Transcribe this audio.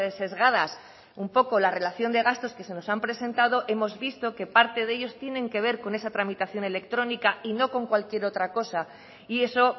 sesgadas un poco la relación de gastos que se nos han presentado hemos visto que parte de ellos tienen que ver con esa tramitación electrónica y no con cualquier otra cosa y eso